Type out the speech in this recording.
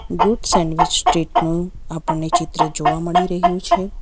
Good sandwich street નું આપણને ચિત્ર જોવા મળી રહ્યું છે.